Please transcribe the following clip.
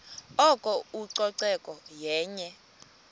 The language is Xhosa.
oko ucoceko yenye